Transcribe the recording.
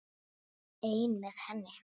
Einn með henni.